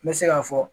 N bɛ se k'a fɔ